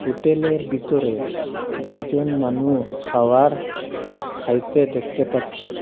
হোটেলের বিতরে দুইজন মানু খাওয়ার খাইতে দেখতে পাচ্ছি।